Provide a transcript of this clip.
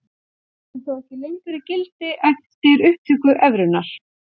Hann er þó ekki lengur í gildi eftir upptöku evrunnar.